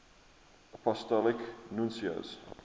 apostolic nuncios